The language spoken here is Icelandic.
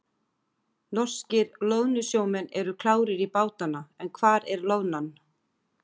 Norskir loðnusjómenn eru klárir í bátana en hvar er loðnan?